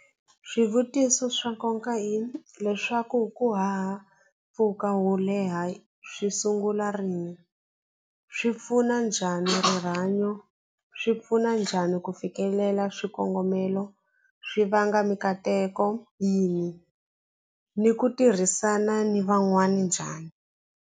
Swivutiso swa hileswaku ku haha mpfhuka wo leha swi sungula rini swi pfuna njhani rihanyo swi pfuna njhani ku fikelela swikongomelo swi vanga mikateko yini ni ku tirhisana ni van'wani njhani.